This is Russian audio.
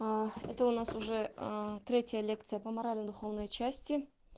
это у нас уже третья лекция по морально-духовной части